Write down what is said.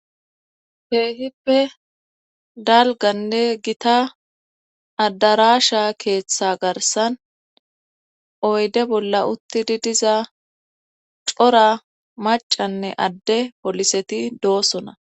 Keehippe dalganne gita addarasha keeththa garsan oyde bolla uttidi diza cora macanne adde poliseti doosona